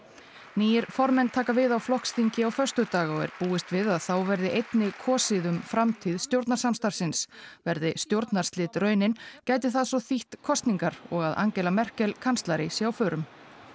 nýir formenn taka við á flokksþingi á föstudag og er búist við að þá verði einnig kosið um framtíð stjórnarsamstarfsins verði stjórnarslit raunin gæti það svo þýtt kosningar og að Angela Merkel kanslari sé á förum